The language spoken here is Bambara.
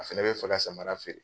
A fɛnɛ bɛ fɛ ka samara feere